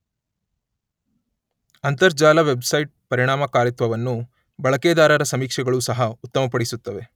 ಅಂತರ್ಜಾಲ ವೆಬ್ಸೈಟ್ ಪರಿಣಾಮಕಾರಿತ್ವವನ್ನು ಬಳಕೆದಾರರ ಸಮೀಕ್ಷೆಗಳೂ ಸಹ ಉತ್ತಮಪಡಿಸುತ್ತವೆ.